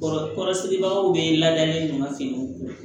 Kɔrɔ kɔrɔsigibagaw bɛ ladalen don ka